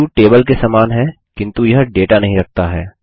view table के समान है किन्तु यह डेटा नहीं रखता है